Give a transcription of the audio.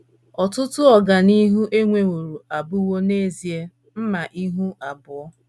Ọtụtụ “ ọganihu ” e nweworo abụwo n’ezie mma ihu abụọ.